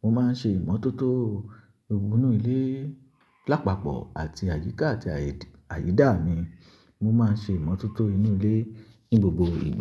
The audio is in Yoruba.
mo máa ń ṣe ìmọ́tótó gbogbo inú ilé, lápapọ̀ àti àyíká àti àyìdá mi. Mo máa ń ṣe ìmọ́tótó inú ilé ní gbogbo ìgba.